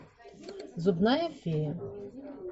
зубная фея